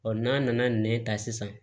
n'a nana nɛn ta sisan